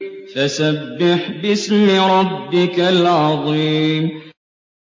فَسَبِّحْ بِاسْمِ رَبِّكَ الْعَظِيمِ